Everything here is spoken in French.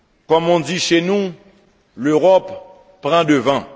Comme on dit chez nous l'Europe pran devant.